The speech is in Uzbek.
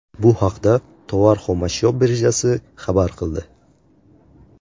Bu haqda Tovar xomashyo birjasi xabar qildi .